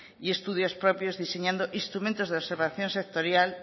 y estudios propios diseñando instrumentos de observación sectorial